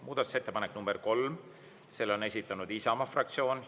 Muudatusettepanek nr 3, selle on esitanud Isamaa fraktsioon.